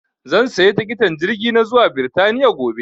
zan saya tikitin jirgi na zuwa birtaniya gobe